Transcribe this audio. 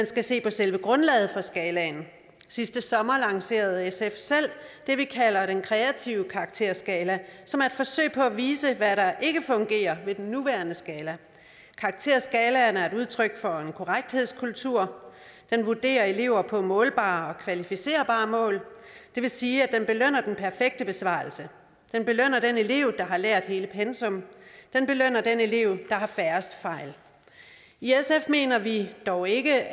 skal se på selve grundlaget for skalaen sidste sommer lancerede sf selv det vi kalder den kreative karakterskala som er et forsøg på at vise hvad der ikke fungerer ved den nuværende skala karakterskalaen er et udtryk for en korrekthedskultur den vurderer elever på målbare og kvalificerbare mål det vil sige at den belønner den perfekte besvarelse den belønner den elev der har lært hele pensum den belønner den elev der har færrest fejl i sf mener vi dog ikke